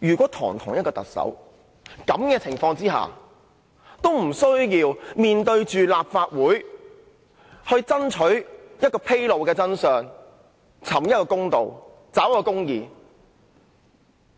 如果堂堂一名特首在這種情況下也無須面對立法會，讓立法會爭取披露真相、尋公道及找公義，